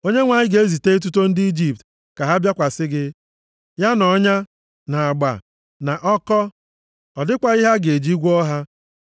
Onyenwe anyị ga-ezite etuto ndị Ijipt ka ha bịakwasị gị, ya na ọnya, na agba, na ọkọ. Ọ dịkwaghị ihe a ga-eji gwọọ ha.